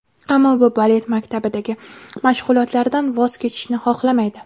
Ammo u balet maktabidagi mashg‘ulotlaridan voz kechishni xohlamaydi.